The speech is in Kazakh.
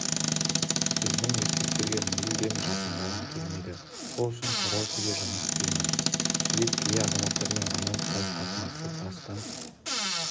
біздің еркектерге мүлде жақындағым келмейді сол үшін караокеде жұмыс істеймін жібек кей азаматтармен романтикалық қатынасты бастан